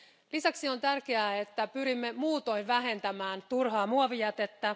Lisäksi on tärkeää, että pyrimme muutoin vähentämään turhaa muovijätettä.